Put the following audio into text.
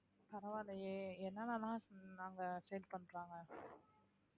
பரவாயில்லையே என்னென்ன எல்லாம் நாங்க பண்றாங்க